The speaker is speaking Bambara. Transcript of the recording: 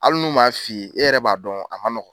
Hali nu m'a fiye e yɛrɛ b'a dɔn a ma nɔgɔn.